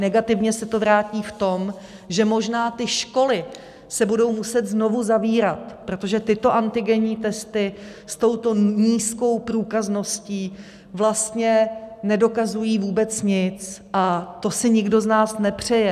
Negativně se to vrátí v tom, že možná ty školy se budou muset znovu zavírat, protože tyto antigenní testy s touto nízkou průkazností vlastně nedokazují vůbec nic, a to si nikdo z nás nepřeje.